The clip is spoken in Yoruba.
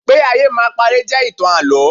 Pé ayé máa paré jẹ́ ìtàn Àlọ́.